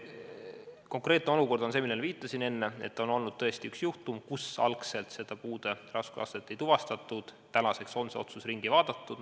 Konkreetne olukord on see, millele ma enne viitasin, et on tõesti olnud üks juhtum, kus algselt puude raskusastet ei tuvastatud, tänaseks on see otsus ringi tehtud.